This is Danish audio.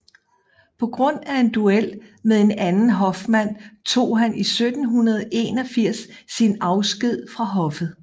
På grund af en duel med en anden hofmand tog han 1781 sin afsked fra hoffet